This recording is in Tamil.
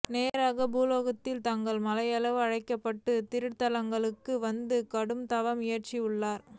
நேராக பூலோகத்தில் தங்கால் மலையென்றழைக்கப்பட்ட திருத்தங்காலுக்கு வந்து கடுந்த வம் இயற்றினாள்